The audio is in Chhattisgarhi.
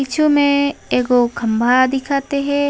पिछु में एगो खम्भा दिखत हे।